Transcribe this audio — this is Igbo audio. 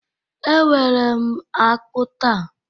Ewere m akpu taa